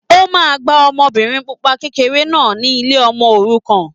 O máa gba ọmọbìnrin pupa kékeré náà ni ilé ọmọ òrukàn.